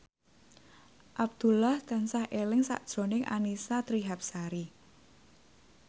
Abdullah tansah eling sakjroning Annisa Trihapsari